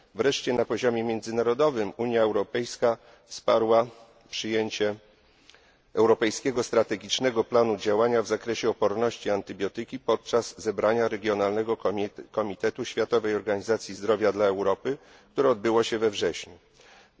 W reszcie na poziomie międzynarodowym Unia Europejska wsparła przyjęcie Europejskiego strategicznego planu działania w zakresie odporności na antybiotyki podczas zebrania Regionalnego Komitetu Światowej Organizacji Zdrowia dla Europy, które odbyło się we wrześniu bieżącego roku.